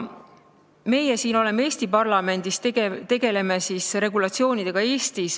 Meie siin Eesti parlamendis tegeleme regulatsioonidega Eesti jaoks.